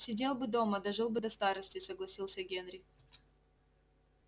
сидел бы дома дожил бы до старости согласился генри